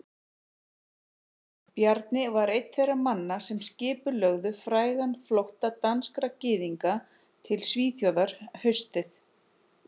Bjarni var einn þeirra manna sem skipulögðu frægan flótta danskra gyðinga til Svíþjóðar haustið